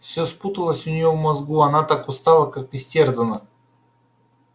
все спуталось у нее в мозгу она так устала так истерзана